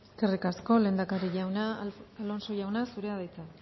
eskerrik asko lehendakari jauna alonso jauna zurea da hitza